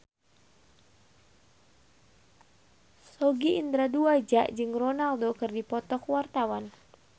Sogi Indra Duaja jeung Ronaldo keur dipoto ku wartawan